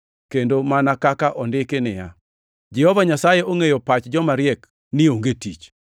kendo mana kaka ondiki niya, “Jehova Nyasaye ongʼeyo pach joma riek ni onge tich.” + 3:20 \+xt Zab 94:11\+xt*